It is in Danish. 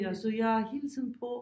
Ja så jeg er hele tiden på